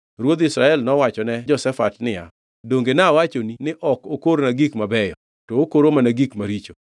Ruodh Israel nowachone Jehoshafat niya, “Donge nawachoni ni ok okorna gik mabeyo, to okoro mana gik maricho?”